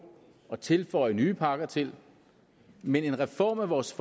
og tilføje nye pakker til men en reform af vores